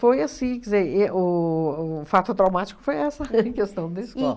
Foi assim, quer dizer, e o o o fato traumático foi essa, em questão da escola.